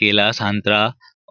केला संतरा